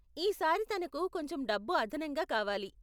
ఈ సారి తనకు కొంచెం డబ్బు అదనంగా కావాలి.